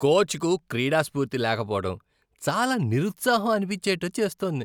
కోచ్కు క్రీడాస్ఫూర్తి లేకపోవడం చాలా నిరుత్సాహం అనిపించేట్టు చేస్తోంది.